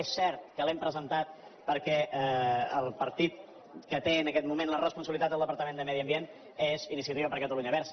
és cert que l’hem presentat perquè el partit que té en aquest moment la responsabilitat del departament de medi ambient és iniciativa per catalunya verds